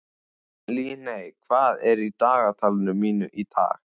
Líney, hvað er í dagatalinu mínu í dag?